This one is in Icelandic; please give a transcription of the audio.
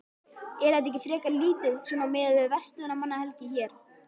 Er þetta ekki frekar lítið svona miðað við verslunarmannahelgi hér?